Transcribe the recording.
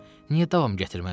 Niyə davam gətirmərəm?